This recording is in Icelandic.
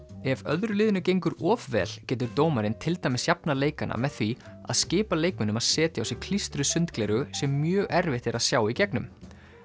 ef öðru liðinu gengur of vel getur dómarinn til dæmis jafnað leikana með því að skipa leikmönnum að setja á sig klístruð sundgleraugu sem er mjög erfitt að sjá í gegnum